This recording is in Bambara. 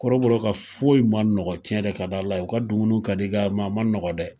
Kɔrɔbɔrɔw ka foyi ma nɔgɔ cɛn de ka di ala ye u ka dumunuw ka di nga ma ma nɔgɔ dɛ